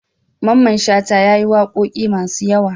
Mamman shata yayi waƙoƙi masu yawa